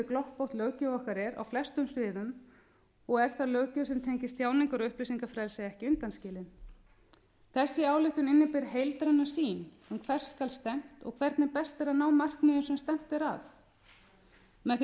gloppótt löggjöf okkar er á flestum sviðum og er þá löggjöf sem tengist tjáningar og upplýsingafrelsi ekki undanskilin þessi ályktun inniber heildræna sýn um hvert skal stefnt og hvernig besti er að ná markmiðum sem stefnt er að með því